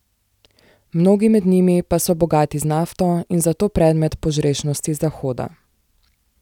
Mnogi med njimi pa so bogati z nafto in zato predmet požrešnosti Zahoda.